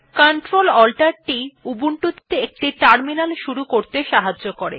Ctrl Alt t উবুন্টুতে একটি terminal শুরু করতে সাহায্য করে